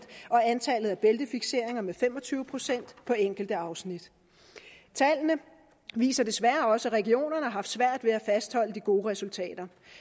og antallet af bæltefikseringer med fem og tyve procent på enkelte afsnit tallene viser desværre også at regionerne har haft svært ved at fastholde de gode resultater